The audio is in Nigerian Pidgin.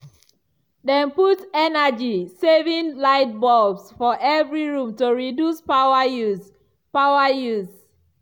dem put energy-saving lightbulbs for every room to reduce power use. power use.